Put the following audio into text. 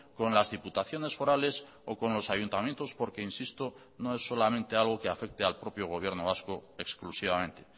con las diputaciones forales o con los ayuntamientos porque insisto no es solamente algo que afecte al propio gobierno vasco exclusivamente